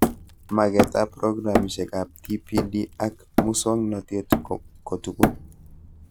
Magetab programitab TPD ak muswonotet kotugul